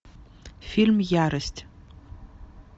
фильм ярость